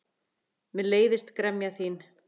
Mér leiðist gremja þín.